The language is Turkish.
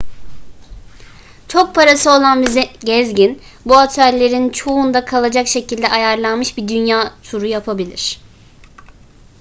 çok parası olan bir gezgin bu otellerin çoğunda kalacak şekilde ayarlanmış bir dünya turu yapabilir